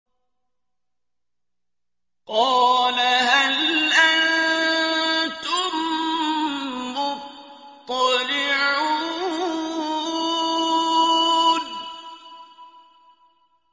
قَالَ هَلْ أَنتُم مُّطَّلِعُونَ